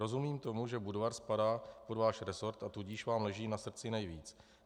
Rozumím tomu, že Budvar spadá pod váš resort, a tudíž vám leží na srdci nejvíc.